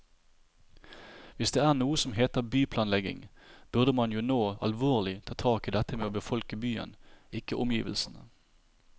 Hvis det er noe som heter byplanlegging, burde man jo nå alvorlig ta tak i dette med å befolke byen, ikke omgivelsene.